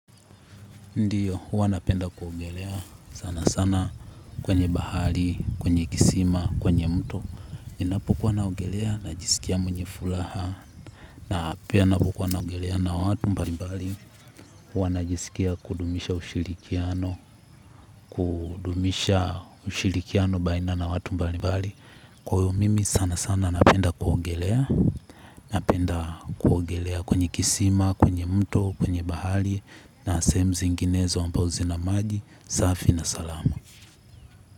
Ndio, huwa napenda kuogelea sana sana kwenye bahari, kwenye kisima, kwenye mto. Ninapokuwa naogelea, najisikia mwenye furaha, na pia napokuwa naogelea na watu mbalimbali. Huwa najisikia kudumisha ushirikiano, kudumisha ushirikiano baina na watu mbalimbali. Kwa hiyo, mimi sana sana napenda kuogelea, napenda kuogelea kwenye kisima, kwenye mto, kwenye bahari. Kwa hiyo, mimi sana sana napenda kuogelea, napenda kuogelea kwenye kisima, kwenye mto, kwenye bahari.